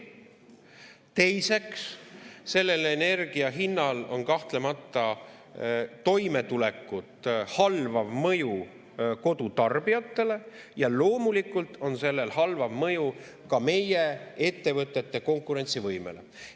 Teiseks, sellel energia hinnal on kahtlemata toimetulekut halvav mõju kodutarbijatele ja loomulikult on sellel halvav mõju ka meie ettevõtete konkurentsivõimele.